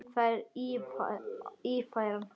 Það er Ífæran.